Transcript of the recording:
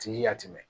Ti yatimɛn